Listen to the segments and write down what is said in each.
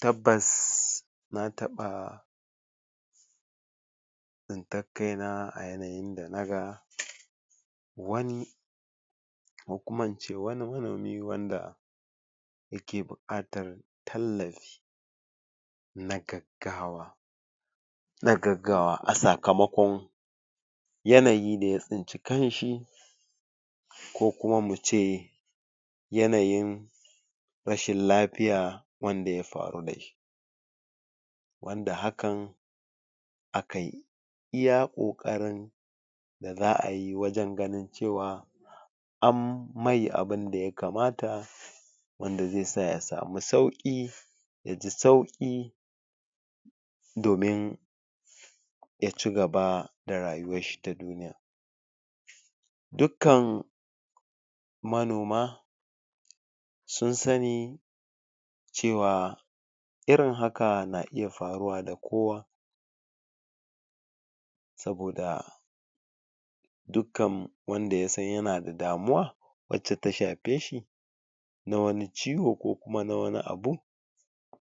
Tabbas na taɓa tsintar kaina a yanayin da na ga wani ko kuma ince wani manomi wanda yake buƙatar tallafi na gaggawa na agaggawa a sakamakon yanayi da ya tsinci kanshi ko kuma muce yanayin rashin lafiya wanda ya faru da shi wanda hakan akayi iya ƙoƙarin da za ayi wajen ganin cewa an mai abunda ya kamata wanda zai sa ya samu sauƙi ya ji sauƙi domin ya cigaba da rayuwar shi ta duniya dukkan manoma san sani cewa irin haka na iya faruwa ga kowa saboda dukkan wanda ya san yana da damuwa wacce ta shafe shi na wani ciwo ko kuma na wani abu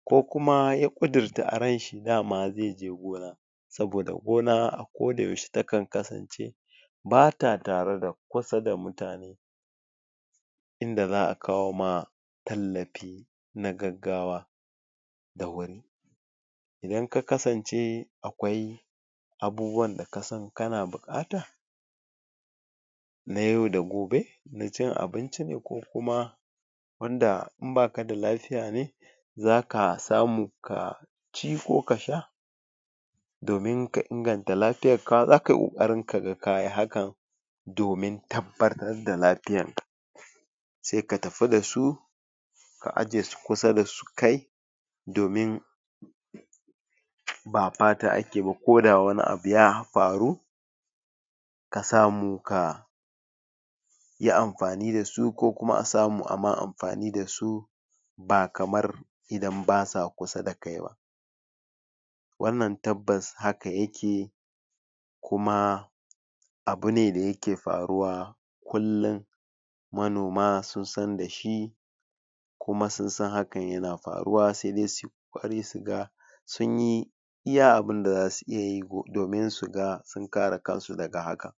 ko kuma ya ƙudurta a ranshi dama zai je gona saboda gona a koda yaushe takan kasance bata tare da kusa da mutane inda za a kawo ma tallafi na gaggawa da wuri idan ka kasance akwai abubuwan da kasan kana buƙata na yau da gobe na cin abinci ne ko kuma wanda in baka da lafiya ne zaka samu ka ci ko ka sha domin ka inganta lafiyan ka zaka yi ƙoƙarin ka ga kayi hakan domin tabbatar da lafiyan ka sai ka tafi da su ka ajiye su kusa da kai domin ba fata ake ba koda wani abu ya faru ka samu ka yi amfani da su ko kuma a samu a ma amfani da su ba kamar idan ba sa kusa da kai ba wannan tabbas haka yake kuma abu ne da yake faruwa kullum manoma sun san da shi kuma sun san hakan na faruwa sai dai suyi ƙoƙari su ga sunyi iya abunda zasu iya yi domin su ga sun kare kansu daga haka.